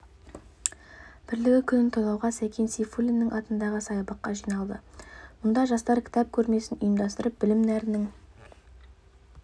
бірлігі күнін тойлауға сәкен сейфуллин атындағы саябаққа жиналды мұнда жастар кітап көрмесін ұйымдастырып білім нәрінің